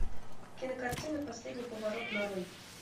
кинокартина последний поворот на рой